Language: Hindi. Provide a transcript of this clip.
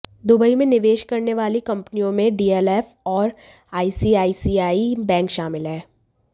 दुबई में निवेश करने वाली कंपनियों में डीएलएफ और आईसीआईसीआई बैंक शामिल हैं